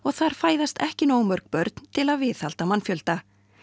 þar fæðist ekki nógu mörg börn til að viðhalda mannfjölda